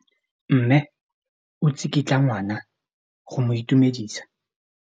Mme o tsikitla ngwana go mo itumedisa.